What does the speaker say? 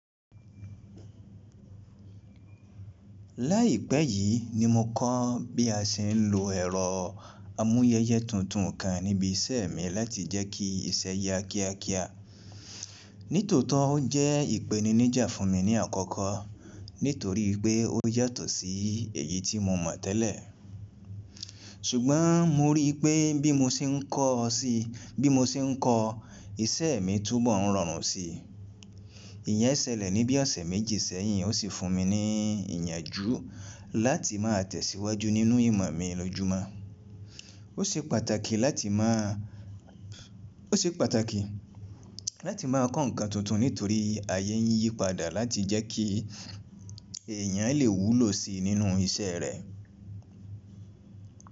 Láìpẹ́ yìí ni mo kọ́ bí a ṣe ń lo ẹ̀rọ amúyẹyẹ tuntun kan níbi iṣẹ́ mi láti jẹ́ kí iṣẹ́ ya kíákíá. Nítòótọ́ ó jẹ́ ìpèníníjà fún mi ní àkọ́kọ́ nítorí pé ó yàtọ̀ sí èyí tí mo mọ̀ tẹ́lẹ̀, ṣùgbọ́n mo rí i pé bí mo ṣe ń kọ́ ọ sí, bí mo ṣe ń kọ́ iṣẹ́ mi túbọ̀ ń rọrùn sí i. Ìyẹ́n ṣẹlẹ̀ ní bí ọ̀sẹ̀ méjì sẹ́yìn ó sì fún mi ní ìyànjú láti máa tẹ̀síwájú nínú ìmọ̀ mi lójúmọ́. Ó ṣe pàtàkì láti máa, ó ṣe pàtàkì láti máa kọ́ ǹkan tuntun nítorí ayé ń yípadà láti jẹ́ kí èèyàn lè wúlò si nínú iṣẹ́ rẹ̀.